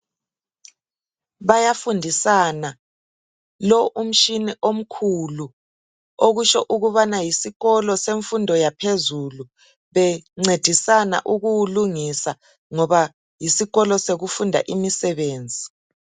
Bayafundisana lo umtshina omkhulu okutsho ukubana yisikolo semfundo yaphezulu bencedisana ukuwulungisa ngoba yisikolo sokufunda imisebenzi .